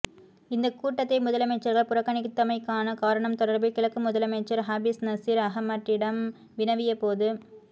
இந்தக் கூட்டத்தை முதலமைச்சர்கள் புறக்கணித்தமைக்கான காரணம் தொடர்பில் கிழக்கு முதலமைச்சர் ஹாபிஸ் நசீர் அஹமட்டிட்டம் வினவிய போது